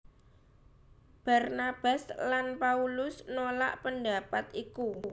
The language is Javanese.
Barnabas lan Paulus nolak pendapat iku